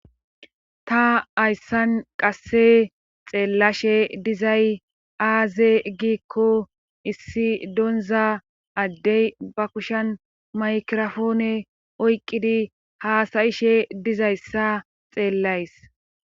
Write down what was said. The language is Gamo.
ta hayssan qasse xeellashe dizay aaze giikko issi donza addey ba kushan maykirofoone oyqqidi haasayishe dizayssa xeellays